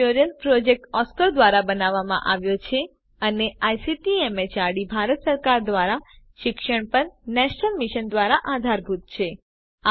આ tutorial project Oscar ધ્વારા બનાવવામાં આવ્યો છે અને આઇસીટી એમએચઆરડી ભારત સરકાર દ્વારા શિક્ષણ પર નેશનલ મિશન દ્વારા આધારભૂત છે